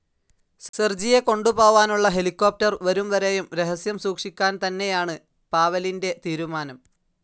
സെർജിയെകൊണ്ടുപോവാനുള്ള helicopter വരുംവരെയും രഹസ്യം സൂക്ഷിക്കാന്തന്നെയാണ് പാവെലിന്റെ തീരുമാനം.